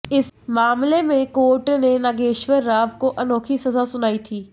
इस मामले में कोर्ट ने नागेश्वर राव को अनोखी सजा सुनाई थी